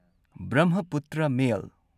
Brahmaputra ꯃꯦꯜ